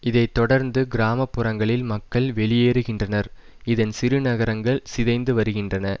இதை தொடர்ந்து கிராம புறங்களில் மக்கள் வெளியேறுகின்றனர் இதன் சிறுநகரங்கள் சிதைந்துவருகின்றன